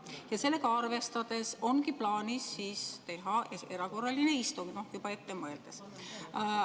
Ja sellega arvestades ongi plaanis teha erakorraline istung, no juba ette mõeldes.